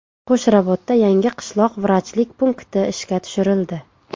Qo‘shrabotda yangi qishloq vrachlik punkti ishga tushirildi.